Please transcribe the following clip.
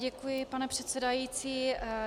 Děkuji, pane předsedající.